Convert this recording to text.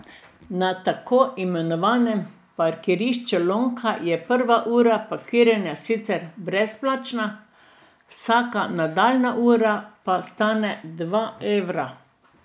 Na tako imenovanem parkirišču Lonka je prva ura parkiranja sicer brezplačna, vsaka nadaljnja ura pa stane dva evra.